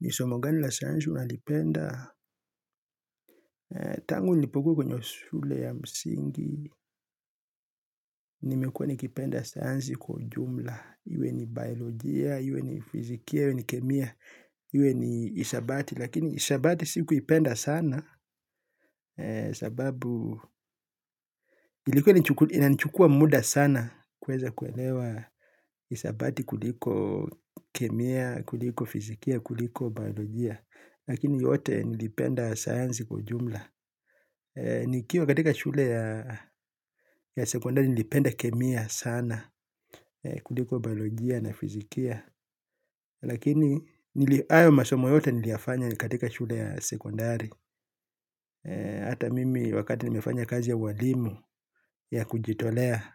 Ni somo gani la sayansi unalipenda? Tangu nilipokuwa kwenye shule ya msingi, nimekuwa nikipenda sayansi kwa ujumla. Iwe ni biolojia, iwe ni fizikia, iwe ni kemia, iwe ni hisabati. Lakini hisabati sikuipenda sana sababu ilikuwa inanichukua muda sana kuweza kuelewa hisabati kuliko kemia, kuliko fizikia, kuliko biolojia. Lakini yote nilipenda saanzi kwa jumla. Nikiwa katika shule ya sekondari, nilipenda kemia sana kuliko biolojia na fizikia. Lakini, hayo masomo yote nilifanya katika shule ya sekondari. Hata mimi, wakati nilipofanya kazi ya ualimu ya kujitolea,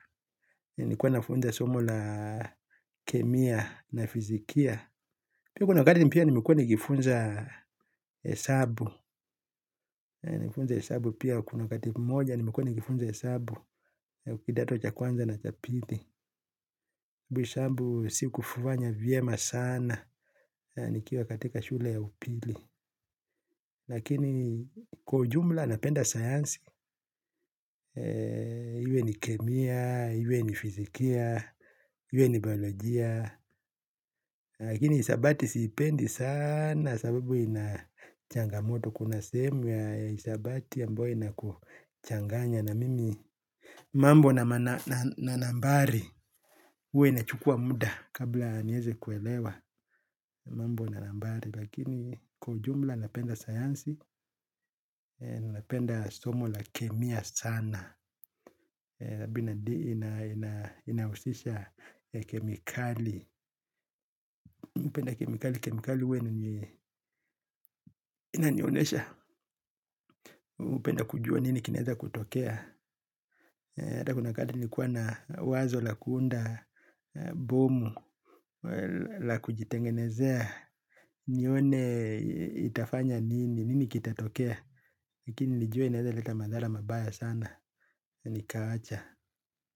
nilikuwa nafundisha somo la kemia na fizikia. Pia, kuna wakati nilikuwa nikifundisha hesabu. Nikifundisha hesabu, pia kuna wakati nilikuwa nikifundisha hesabu. Kidato cha kwanza na cha pili, sikufanya vizuri sana nikiwa katika shule ya upili. Lakini kwa ujumla, napenda sayansi. Iwe ni kemia, iwe ni fizikia, iwe ni biolojia. Lakini hisabati siipendi sana kwa sababu ina changamoto. Kuna sehemu ya hisabati ambayo inachanganya, na mambo ya nambari huwa yanachukua muda kabla niweze kuelewa. Mambo ya nambari, lakini kwa ujumla napenda sayansi. Napenda somo la kemia sana vile linahusisha kemikali. Napenda kemikali, kemikali huwa inanionyesha. Napenda kujua nini kinaweza kutokea. Hata kuna wakati nilikuwa na wazo la kuunda bomu. La kujitengenezea, nione itafanya nini, nini kitatokea. Lakini nilijua inaweza kuleta madhara mabaya sana, nikaacha.